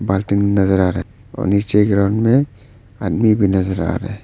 पार्टिन नजर आ रहा है और नीचे ग्राउंड में आदमी भी नजर आ रहे है।